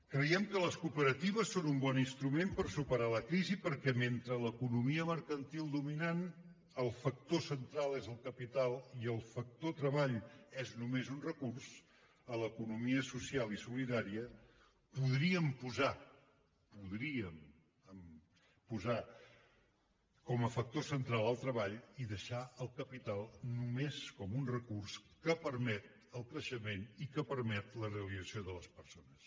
creiem que les cooperatives són un bon instrument per superar la crisi perquè mentre a l’economia mercantil dominant el factor central és el capital i el factor treball és només un recurs a l’economia social i solidària podríem posar podríem posar com a factor central el treball i deixar el capital només com un recurs que permet el creixement i que permet la realització de les persones